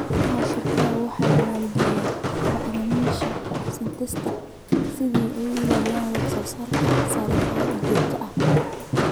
Beeraha shirkaduhu waxay maalgashadaan bacrimiyeyaasha synthetic si ay u ilaaliyaan wax-soo-saar sare oo joogto ah.